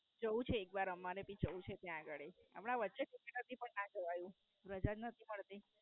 જવું છે એક વાર અમારે ભી જવું છે ત્યાં ગાળી. હમણાં વચ્ચે જ ઈચ્છા હતી પણ ના જવાયું. રજા જ નથી મળતી.